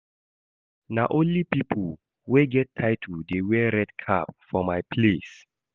Na only pipo wey get title dey wear red cap for my place.